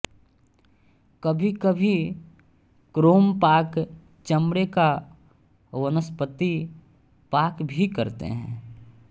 कभीकभी क्रोमपाक चमड़े का वानस्पतिक पाक भी करते हैं